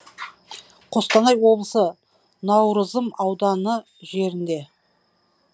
қостанай облысы наурызым ауданы жерінде